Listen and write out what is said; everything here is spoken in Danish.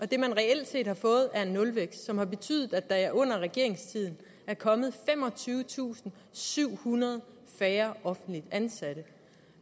det man reelt set har fået er nulvækst som har betydet at der under regeringens tid er kommet femogtyvetusinde og syvhundrede færre offentligt ansatte